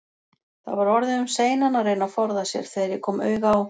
Það var orðið um seinan að reyna að forða sér, þegar ég kom auga á